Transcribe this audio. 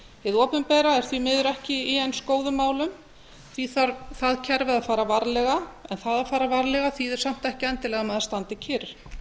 hið opinbera er því miður ekki í eins góðum málum því þarf kerfið að fara varlega en það að fara varlega þýðir samt ekki endilega að maður standi kyrr